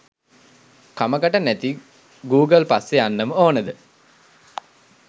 කමකට නැති ගූගල් පස්සෙ යන්නම ඕනද?